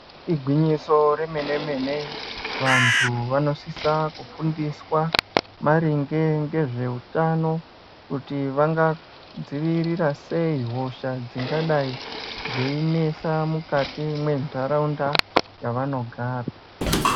Igwinyiso remene mene vantu vanosisa kufundiswa maringe ngezvehutano kuti vanga dzivirira sei hosha dzingadai dzeinesa mukati mwendaraunda yavanogara.